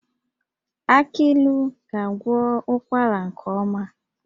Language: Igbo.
Aki ilu ga-agwọ ụkwara nke ọma